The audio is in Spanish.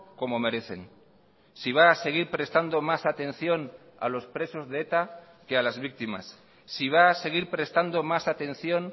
como merecen si va a seguir prestando más atención a los presos de eta que a las víctimas si va a seguir prestando más atención